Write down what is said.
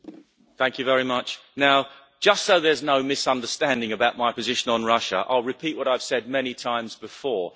Mr President, thank you very much. Now just so there's no misunderstanding about my position on Russia, I'll repeat what I've said many times before.